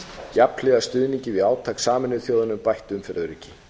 jafnhliða stuðningi við átak sameinuðu þjóðanna um bætt umferðaröryggi